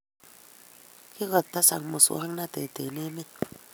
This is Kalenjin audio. Kikotesak muswagnatet en emet